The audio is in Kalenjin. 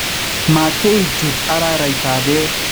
mateei chutu araraitap peek